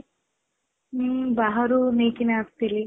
ହଁ ବାହାରୁ ନେଇକି ଆସିଥିଲି